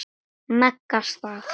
Maga. stað?